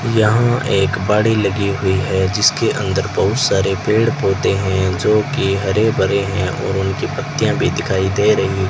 यहां एक बॉडी लगी हुई है जिसके अंदर बहुत सारे पेड़ पौधे हैं जो कि हरे भरे हैं और उनकी पत्तियां भी दिखाई दे रही --